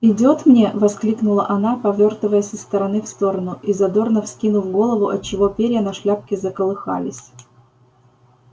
идёт мне воскликнула она повёртываясь из стороны в сторону и задорно вскинув голову отчего перья на шляпке заколыхались